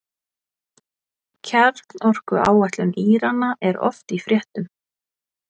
Kjarnorkuáætlun Írana er oft í fréttum.